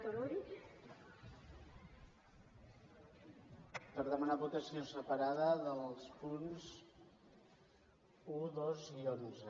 per demanar votació separada dels punts un dos i onze